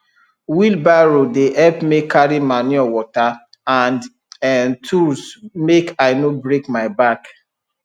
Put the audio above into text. wheelbarrow dey help me carry manure water and um tools make i no break my back